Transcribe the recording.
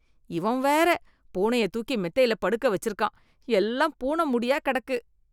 இவன் வேற பூனைய தூக்கி மெத்தையில படுக்க வெச்சிருக்கான், எல்லாம் பூன முடியா கெடக்கு.